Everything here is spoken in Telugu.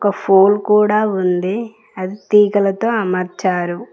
ఒ ఫోల్ కూడా ఉంది అది తీగలతో అమర్చారు.